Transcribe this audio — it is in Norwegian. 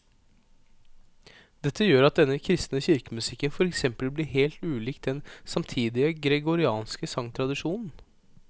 Dette gjør at denne kristne kirkemusikken for eksempel blir helt ulik den samtidige gregorianske sangtradisjonen.